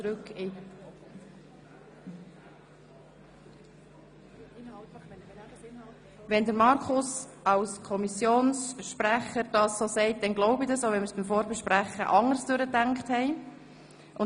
Wenn Grossrat Wenger als Kommissionssprecher das so sagt, dann glaube ich ihm das, auch wenn wir es bei der Vorbesprechung anders durchdacht hatten.